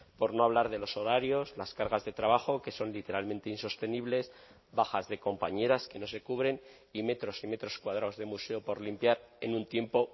por no hablar de los horarios las cargas de trabajo que son literalmente insostenibles bajas de compañeras que no se cubren y metros y metros cuadrados de museo por limpiar en un tiempo